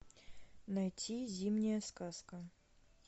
найти зимняя сказка